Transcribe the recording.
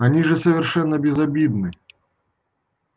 они же совершенно безобидны